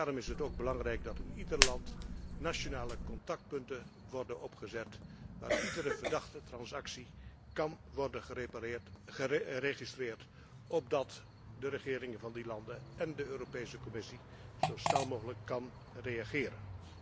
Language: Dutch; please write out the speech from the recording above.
Daarom is het ook belangrijk dat in ieder land nationale contactpunten worden opgezet waar iedere verdachte transactie kan worden geregistreerd, opdat de regeringen van die landen én de Commissie zo snel mogelijk kunnen reageren.